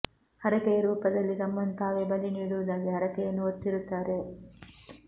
ಹರಕೆಯ ರೂಪದಲ್ಲಿ ತಮ್ಮನ್ನು ತಾವೇ ಬಲಿ ನೀಡುವುದಾಗಿ ಹರಕೆಯನ್ನು ಹೊತ್ತಿರು ತ್ತಾರೆ